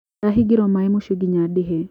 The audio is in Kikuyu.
Ndahĩngĩiro maĩ mũcĩĩ nginya ndĩhe.